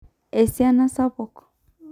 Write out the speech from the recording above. Esiana sapuk.